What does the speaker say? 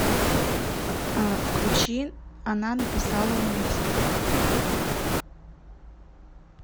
включи она написала убийство